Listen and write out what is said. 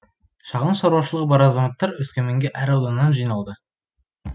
шағын шаруашылығы бар азаматтар өскеменге әр ауданнан жиналды